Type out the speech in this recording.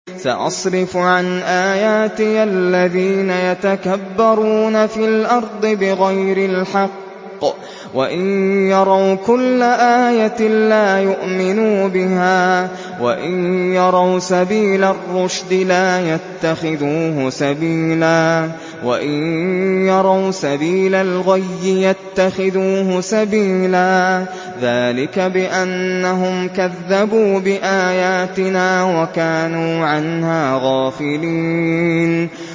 سَأَصْرِفُ عَنْ آيَاتِيَ الَّذِينَ يَتَكَبَّرُونَ فِي الْأَرْضِ بِغَيْرِ الْحَقِّ وَإِن يَرَوْا كُلَّ آيَةٍ لَّا يُؤْمِنُوا بِهَا وَإِن يَرَوْا سَبِيلَ الرُّشْدِ لَا يَتَّخِذُوهُ سَبِيلًا وَإِن يَرَوْا سَبِيلَ الْغَيِّ يَتَّخِذُوهُ سَبِيلًا ۚ ذَٰلِكَ بِأَنَّهُمْ كَذَّبُوا بِآيَاتِنَا وَكَانُوا عَنْهَا غَافِلِينَ